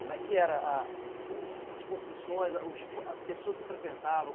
Como é que era a o as construções, as pessoas que frequentavam?